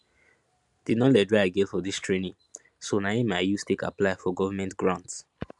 di knowledge wey i get for dis training so na im i use take apply for govment grant